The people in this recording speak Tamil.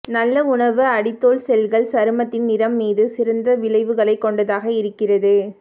நல்ல உணவு அடித்தோல் செல்கள் சருமத்தின் நிறம் மீது சிறந்த விளைவுகளைக் கொண்டதாக இருக்கிறது